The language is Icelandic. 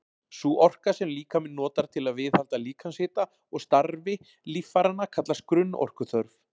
Sú orka sem líkaminn notar til að viðhalda líkamshita og starfi líffæranna kallast grunnorkuþörf.